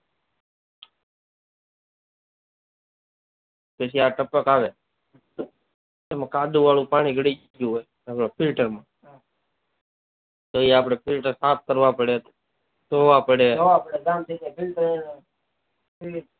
પછી આ આ ટપક આવે એમાં કાદવ વાળું પાણી ગળી ગયું હોય એ ફિલ્ટર આપડે સાફ કરવા પડે ધોવા પડે